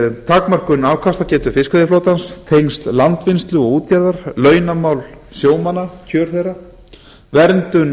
takmörkun afkastagetu fiskveiðiflotans tengsl landvinnslu og útgerðar launamál sjómanna kjör þeirra verndun